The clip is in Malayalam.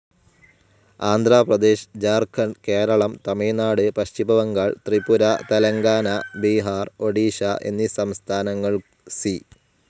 ആന്ധ്രാ പ്രദേശ്‌, ഝാ‍ർഖണ്ഡ്‌, കേരളം, തമിഴ്‌നാട്‌, പശ്ചിമ ബംഗാൾ, ത്രിപുര, തെലങ്കാന, ബീഹാർ, ഒഡീഷ എന്നീ സംസ്ഥാനങ്ങൾ സി.